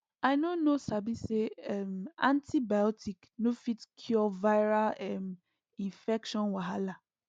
i no know sabi say um antibiotic no fit cure viral um infection wahala